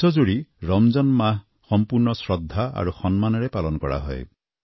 বিশ্বজুৰি ৰমজান মাহ সম্পূৰ্ণ শ্ৰদ্ধা আৰু সন্মানেৰে পালন কৰা হয়